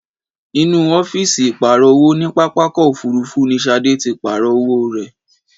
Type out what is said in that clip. Inú ọ́fíìsì ìpààrọ̀ owó ní pápákọ̀ òfúrúfú ní Ṣadé tí pàarọ̀ owó rẹ ẹ̀.